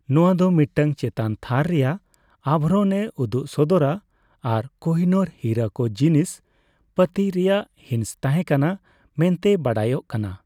ᱱᱚᱣᱟ ᱫᱚ ᱢᱤᱫᱴᱟᱝ ᱪᱮᱛᱟᱱ ᱛᱷᱟᱨ ᱨᱮᱭᱟᱜ ᱟᱵᱷᱨᱚᱱ ᱮ ᱩᱫᱩᱜ ᱥᱚᱫᱚᱨᱟ ᱟᱨ ᱠᱚᱦᱤᱱᱩᱨ ᱦᱤᱨᱟᱹ ᱫᱚ ᱡᱤᱱᱤᱥᱼᱯᱟᱹᱛᱤ ᱨᱮᱭᱟᱜ ᱦᱤᱸᱥ ᱛᱟᱦᱮᱸ ᱠᱟᱱᱟ ᱢᱮᱱᱛᱮ ᱵᱟᱰᱟᱭᱚᱜ ᱠᱟᱱᱟ ᱾